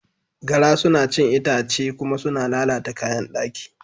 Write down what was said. Gara suna cin itace kuma suna lalata kayan daki.